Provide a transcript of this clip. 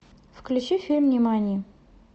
включи фильм нимани